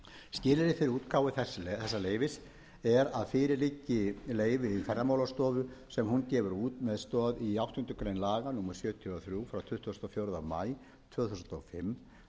skilyrði fyrir útgáfu þessa leyfis er að fyrir liggi leyfi ferðamálastofu sem hún gefur út með stoð í áttundu grein laga númer sjötíu og þrjú tuttugasta og fjórða maí tvö þúsund og fimm um